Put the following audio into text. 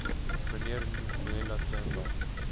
mnr nxumalo themba